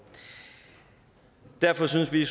derfor synes vi